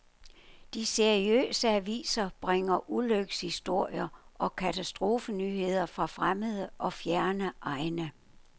De seriøse aviser bringer ulykkeshistorier og katastrofenyheder fra fremmede og fjerne egne.